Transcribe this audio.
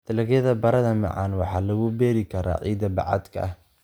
Dalagyada baradhada macaan waxaa lagu beeri karaa ciidda bacaadka ah.